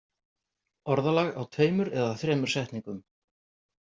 Orðalag á tveimur eða þremur setningum.